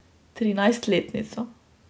Trinajstletnico.